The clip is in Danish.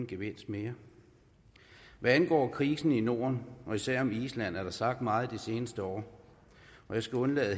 gevinst mere hvad angår krisen i norden og især i island er der sagt meget de seneste år jeg skal undlade at